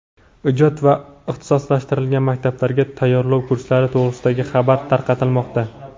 ijod va ixtisoslashtirilgan maktablarga tayyorlov kurslari to‘g‘risidagi xabar tarqatilmoqda.